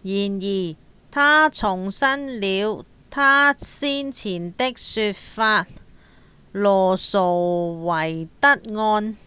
然而他重申了他先前的說法：「羅訴韋德案」